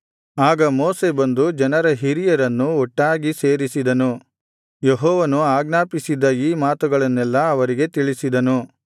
ಆಗ ಮೋಶೆ ಬಂದು ಜನರ ಹಿರಿಯರನ್ನು ಒಟ್ಟಾಗಿ ಸೇರಿಸಿದನು ಯೆಹೋವನು ಆಜ್ಞಾಪಿಸಿದ್ದ ಈ ಮಾತುಗಳನ್ನೆಲ್ಲಾ ಅವರಿಗೆ ತಿಳಿಸಿದನು